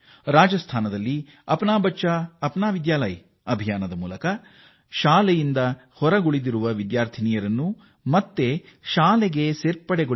ರಾಜಾಸ್ತಾನದಲ್ಲಿ ನಿಮ್ಮ ಮಗು ನಿಮ್ಮ ವಿದ್ಯಾಲಯ ಪ್ರಚಾರ ಆರಂಭಿಸಿದ್ದು ಶಾಲೆ ಬಿಟ್ಟ ಹೆಣ್ಣು ಮಕ್ಕಳನ್ನು ಮರಳಿ ಶಾಲೆಗೆ ಸೇರಿಸಲಾಗುತ್ತಿದೆ